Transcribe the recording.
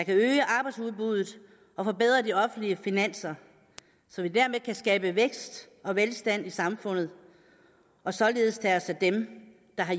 øge arbejdsudbuddet og forbedre de offentlige finanser så vi dermed kan skabe vækst og velstand i samfundet og således tage os af dem der har